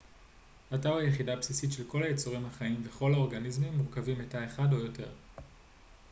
התא הוא היחידה הבסיסית של כל היצורים החיים וכל האורגניזמים מורכבים מתא אחד או יותר